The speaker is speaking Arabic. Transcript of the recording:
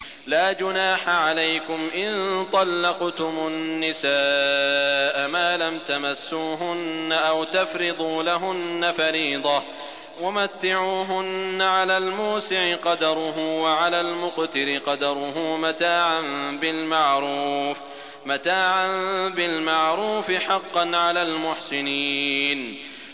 لَّا جُنَاحَ عَلَيْكُمْ إِن طَلَّقْتُمُ النِّسَاءَ مَا لَمْ تَمَسُّوهُنَّ أَوْ تَفْرِضُوا لَهُنَّ فَرِيضَةً ۚ وَمَتِّعُوهُنَّ عَلَى الْمُوسِعِ قَدَرُهُ وَعَلَى الْمُقْتِرِ قَدَرُهُ مَتَاعًا بِالْمَعْرُوفِ ۖ حَقًّا عَلَى الْمُحْسِنِينَ